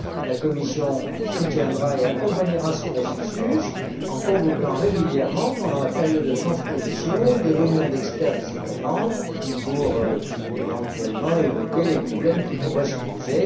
La Commission soutiendra et accompagnera ce processus en convoquant régulièrement, pendant la période de transposition, des réunions d'experts des États membres pour, éventuellement, évoquer les problèmes qui pourraient se poser.